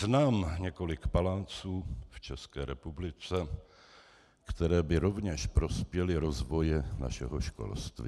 Znám několik paláců v České republice, které by rovněž prospěly rozvoji našeho školství.